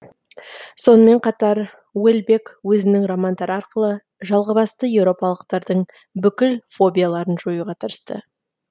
сонымен қатар уэльбек өзінің романдары арқылы жалғызбасты еуропалықтардың бүкіл фобияларын жоюға тырысты